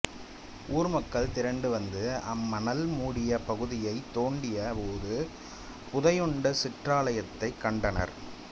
ஊர் மக்கள் திரண்டு வந்து அம்மணல் மூடிய பகுதியை தோண்டிய போது புதையுண்ட சிற்றாலயத்தைக் கண்டனர்